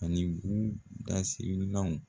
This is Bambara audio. A ni gu dasirinanw